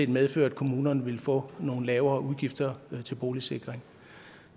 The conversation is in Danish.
medføre at kommunerne ville få nogle lavere udgifter til boligsikring